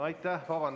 Aitäh!